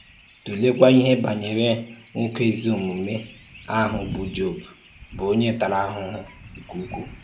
Tụ̀lèkwà ìhè bànyèrè nwókè ézì-òmùmè ahụ̀ bụ́ Jọb, bụ́ onye tārà àhùhù nke ukwu.